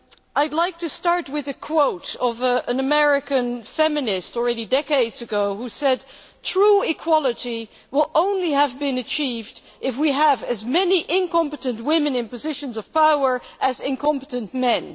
I would like to start with a quote by an American feminist who said, decades ago already true equality will only have been achieved if we have as many incompetent women in positions of power as incompetent men.